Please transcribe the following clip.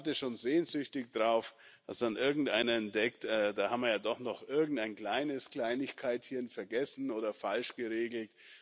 Und ich warte schon sehnsüchtig darauf, dass dann irgendeiner entdeckt, da haben wir ja doch noch irgendein kleines Kleinigkeitchen vergessen oder falsch geregelt.